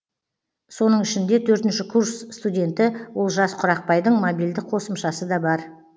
соның ішінде төртінші курс студенті олжас құрақбайдың мобильді қосымшасы да бар